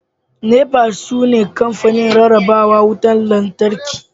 NEPA shine sunan kamfanin rarraba wutar lantarki